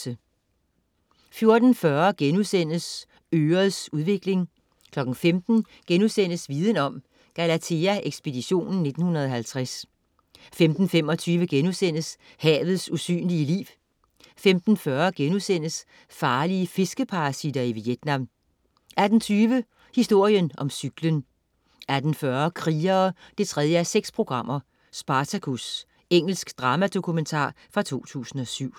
14.40 Ørets udvikling* 15.00 Viden Om: Galathea Ekspeditionen 1950* 15.25 Havets usynlige liv* 15.40 Farlige fiskeparasitter i Vietnam* 18.20 Historien om cyklen 18.40 Krigere 3:6. Spartacus. Engelsk dramadokumentar fra 2007